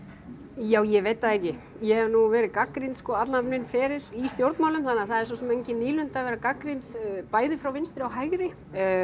já ég veit það ekki ég hef nú verið gagnrýnd sko allan minn feril í stjórnmálum þannig að það er svo sem engin nýlunda að vera gagnrýnd bæði frá vinstri og hægri